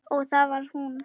Og það var hún.